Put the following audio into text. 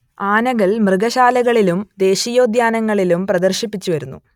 ആനകൾ മൃഗശാലകളിലും ദേശീയോദ്യാനങ്ങളിലും പ്രദർശിപ്പിച്ചുവരുന്നു